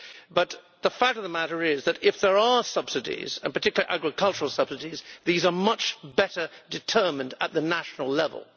But the fact of the matter is that if there are subsidies and particularly agricultural subsidies these are much better determined at national level.